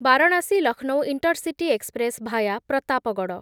Varanasi Lucknow intercity express via Pratapgarh